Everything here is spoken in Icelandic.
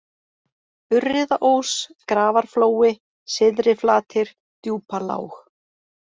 Urriðaós, Grafarflói, Syðri-Flatir, Djúpalág